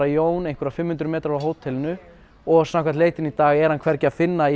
Jón einhverja fimm hundruð metra frá hótelinu og samkvæmt leitinni í dag er hann ekki að finna